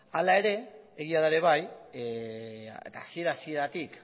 hala ere egia da ere bai eta hasiera hasieratik